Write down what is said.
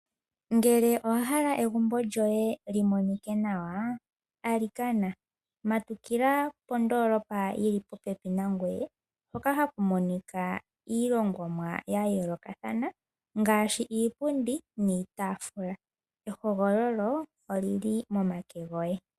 Ngele owa hala egumbo lyoye li monike nawa, alikana matukila kondoolopa yi li popepi nangoye hoka haku monika iilongomwa ya yoolokathana ngaashi iipundi niitaafula. Ehogololo oli li momake goye.